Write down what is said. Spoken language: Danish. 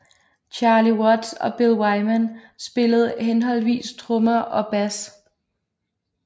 Charlie Watts og Bill Wyman spillede henholdsvis trommer og bass